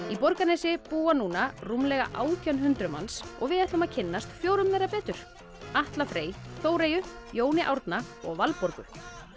í Borgarnesi búa núna rúmlega átján hundruð manns og við ætlum að kynnast fjórum þeirra betur Atla Frey Þóreyju Jóni Árna og Valborgu